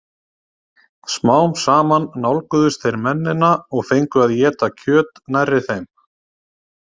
Smám saman nálguðust þeir mennina og fengu að éta kjöt nærri þeim.